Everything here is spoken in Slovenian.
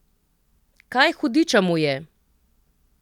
Kaj, hudiča, mu je?